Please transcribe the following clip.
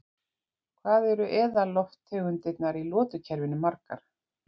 Hvað eru eðallofttegundirnar í lotukerfinu margar?